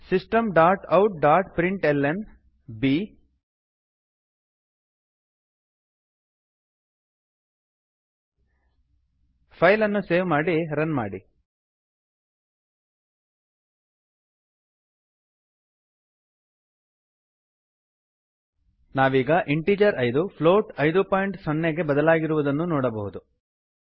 systemoutಪ್ರಿಂಟ್ಲ್ನ system dot out dot println B ಫೈಲನ್ನು save ಮಾಡಿ run ಮಾಡಿ ನಾವೀಗ ಇಂಟೀಜರ್5 ಐದು ಪ್ಲೋಟ್ 50 ಐದು ಬಿಂದು ಸೊನ್ನೆಗೆ ಬದಲಾಗಿರುವುದನ್ನು ನೋಡಬಹುದು